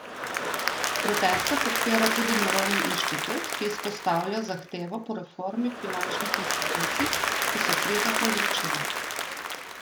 Proteste podpira tudi Mirovni inštitut, ki izpostavlja zahtevo po reformi finančnih institucij, ki so krizo povzročile.